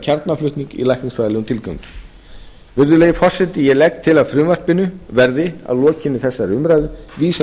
í læknisfræðilegum til gangi virðulegi forseti ég legg til að frumvarpinu verði að lokinni þessari umræðu vísað